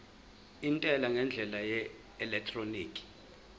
intela ngendlela yeelektroniki